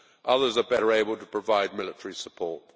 Others are better able to provide military support.